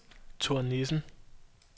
Thor Nissen